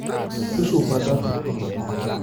Tusupata.